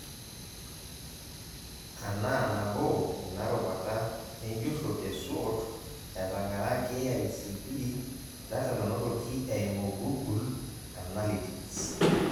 Anaa nabo ina rubata enjurro e SWOT, etang'ara KICD data nanotoki eimu google annalytics.